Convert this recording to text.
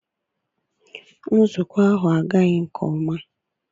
Nzukọ ahụ agaghị nke ọma.